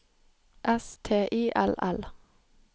S T I L L